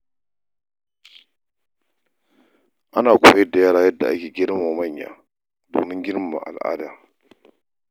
Ana koyar da yara yadda ake girmama manya domin girmama al’ada.